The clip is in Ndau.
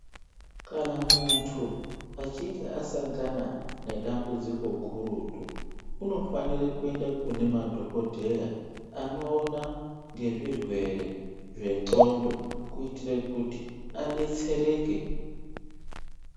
Kana muntu achinge asangana nedambudziko gurutu. Unofanire kuende kune madhogodheya anoona ngezvirwere zvendxondo kuitire kuti abetsereke.